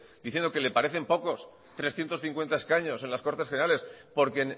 diciendo que le parecen pocos trescientos cincuenta escaños en las cortes generales porque